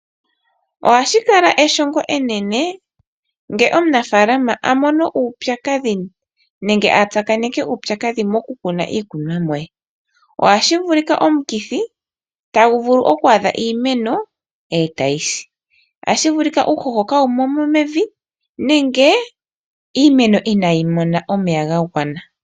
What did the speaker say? Ohashi kala eshongo enene ngele omunafalama a mono uupyakadhi nenge a tsakaneke uupyakadhi mokukuna iikunomwa ye ohashi vulika omukithi tagu vulu okwaadha iimeno etayi si, ohashi vulika uuhoho kaawumo mevi nenge iimeno inayi mona omeya ga gwana.